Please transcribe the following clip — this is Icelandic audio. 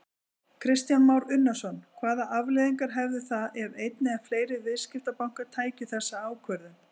Kristján Már Unnarsson: Hvaða afleiðingar hefðu það ef einn eða fleiri viðskiptabankar tækju þessa ákvörðun?